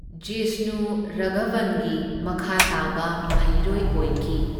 ꯖꯤꯁꯅꯨ ꯔꯥꯘꯕꯟꯒꯤ ꯃꯈꯥꯇꯥꯕ ꯃꯍꯩꯔꯣꯢ ꯑꯣꯏꯈꯤ꯫